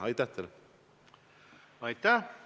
Aitäh!